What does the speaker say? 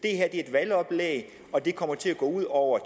er et valgoplæg og det kommer til at gå ud over